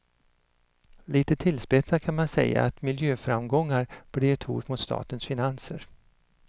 Lite tillspetsat kan man säga att miljöframgångar blir ett hot mot statens finanser.